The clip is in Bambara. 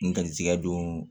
N garizigɛ don